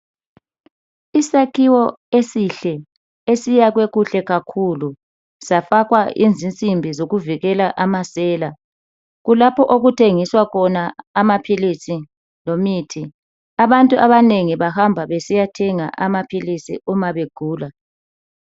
Isakhiwo esihle esiyakhwe kuhle kakhulu safakwa izinsimbi zokuvikela amasela kulapho okuthengiswa khona amaphilisi lemithi abantu abanengi bahamba besiyathenga amaphilisi umabegula.